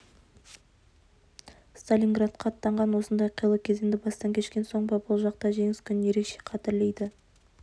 сталинградқа аттанған осындай қилы кезеңді бастан кешкен соң ба бұл жақта жеңіс күнін ерекше қадірлейді